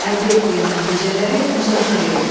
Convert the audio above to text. Əldə etdiyin nəticələri müzakirə et.